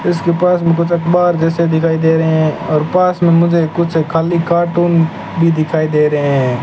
इसके पास में कुछ अखबार जैसे दिखाई दे रहे हैं और पास में मुझे कुछ खाली कार्टून भीं दिखाई दे रहे हैं।